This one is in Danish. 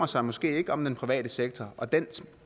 sig måske ikke om den private sektor og dens